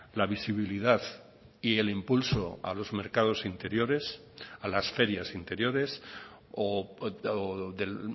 la visibilidad y el impulso a los mercados interiores a las ferias interiores o del